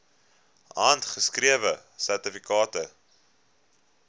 handgeskrewe sertifikate